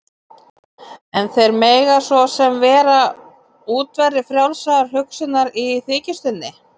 En þeir mega svo sem vera útverðir frjálsrar hugsunar- í þykjustunni.